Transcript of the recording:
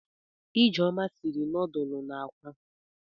Ijeoma siri nọọdụlụ na akwa.